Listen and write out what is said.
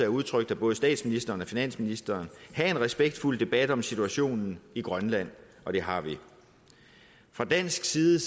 udtrykt af både statsministeren og finansministeren have en respektfuld debat om situationen i grønland og det har vi fra dansk side